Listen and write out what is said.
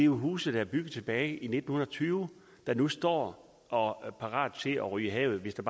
huse der er bygget tilbage i nitten tyve der nu står og er parate til at ryge i havet hvis der